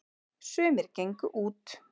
sumir gengu út